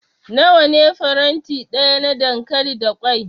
Nawa ne faranti daya na dankali da kwai?